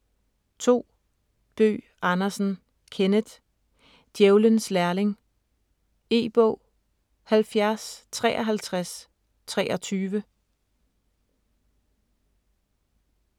2. Bøgh Andersen, Kenneth: Djævelens lærling E-bog 705323